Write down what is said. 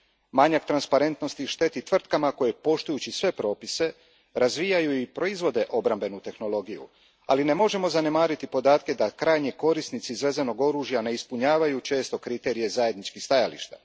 Manjak transparentnosti šteti tvrtkama koje poštujući sve propise razvijaju i proizvode obrambenu tehnologiju, ali ne možemo zanemariti podatke da krajnji korisnici izvezenog oružja ne ispunjavaju često kriterije zajedničkih stajališta.